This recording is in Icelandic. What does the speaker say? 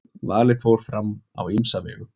Valið fór fram á ýmsa vegu.